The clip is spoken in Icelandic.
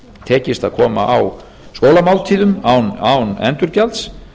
tekist að koma á skólamáltíðum án endurgjalds